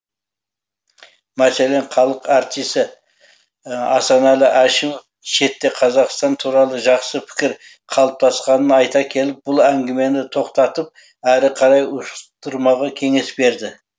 мәселен халық әртісі асанәлі әшімов шетте қазақстан туралы жақсы пікір қалыптасқанын айта келіп бұл әңгімені тоқтатып әрі қарай ушықтырмаға кеңес берді